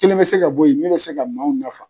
Kelen mɛ se ka bɔ yen min bɛ se ka maaw nafa.